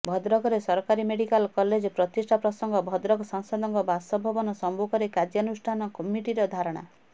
ଭଦ୍ରକରେ ସରକାରୀ medical college ପ୍ରତିଷ୍ଠା ପ୍ରସଙ୍ଗ ଭଦ୍ରକ ସାଂସଦଙ୍କ ବାସଭବନ ସମ୍ମୁଖରେ କ୍ରିୟାନୁଷ୍ଠାନ କମିଟିର ଧାରଣା